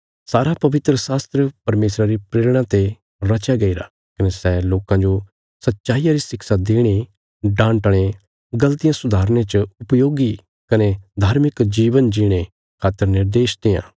सारा पवित्रशास्त्र परमेशरा री प्रेरणा ते रचया गईरा कने सै लोकां जो सच्चाईया री शिक्षा देणे डांटणे गल़तियां सुधारने च उपयोगी कने धार्मिक जीवन जीणे खातर निर्देश देआं